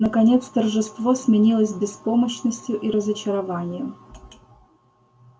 наконец торжество сменилось беспомощностью и разочарованием